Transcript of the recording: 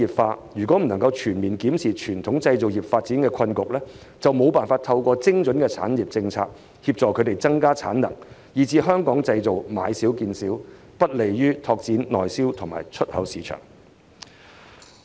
政府如未能全面檢視傳統製造業發展的困局，就無法透過精準的產業政策協助業界提升產能，最終導致"香港製造"買少見少，不利於拓展內銷和出口市場。